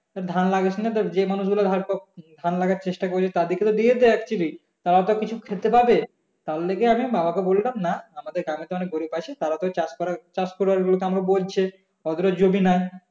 তা ধান লাগাচ্ছিনা তো যে মানুষ গুলো ধার ধান লাগানোর চেষ্টা করেছে তাদেরকে তো দিয়ে দে actually তার তো কিছু খেতে পাবে তারজন্য আমি বাবাকে বললাম না আমাদের গ্রামে তো অনেক গরীব আছে তারা তো চাষ করার চাষ করবার জন্য আমাকে বলছে ওদেরও জমি নেই